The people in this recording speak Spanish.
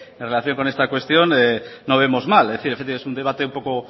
en relación con esta cuestión no vemos mal es decir es un debate un poco